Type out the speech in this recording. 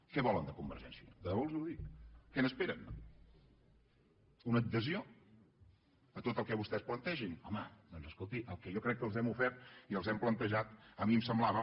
què volen de convergència i unió de debò els ho dic què n’esperen una adhesió a tot el que vostès plantegin home doncs escoltin el que jo crec que els hem ofert i els hem plantejat a mi em semblava